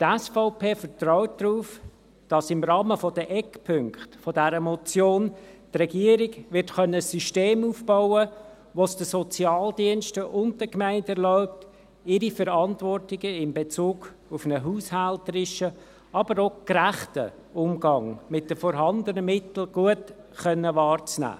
Die SVP vertraut darauf, dass im Rahmen der Eckpunkte dieser Motion, die Regierung ein System aufbauen können wird, welches es den Sozialdiensten und den Gemeinden erlaubt, ihre Verantwortungen in Bezug auf einen haushälterischen, aber auch gerechten Umgang mit den vorhandenen Mitteln gut wahrzunehmen.